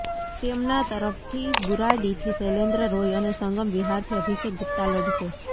તેમના તરફથી બુરાડીથી શૈલેન્દ્ર રોય અને સંગમ વિહારથી અભિષેક ગુપ્તા લડશે